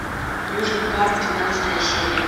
южный парк двенадцатая серия